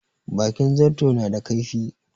Bakin zarto na da kaifi.